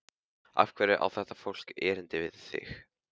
Af hverju á þetta fólk erindi við þig?